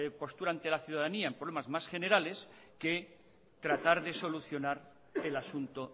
postura ante la ciudadanía en problemas más generales que tratar de solucionar el asunto